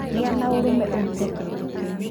Gĩa na ũrũme ũrute kĩndũ kĩu